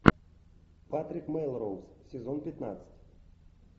патрик мелроуз сезон пятнадцать